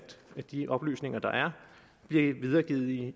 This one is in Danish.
de oplysninger der er bliver videregivet i